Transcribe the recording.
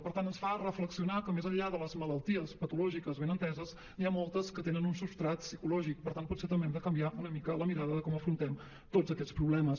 per tant ens fa reflexionar que més enllà de les malalties patològiques ben enteses n’hi ha moltes que tenen un substrat psicològic per tant potser també hem de canviar una mica la mirada de com afrontem tots aquests problemes